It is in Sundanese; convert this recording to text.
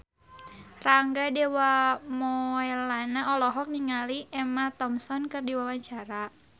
Rangga Dewamoela olohok ningali Emma Thompson keur diwawancara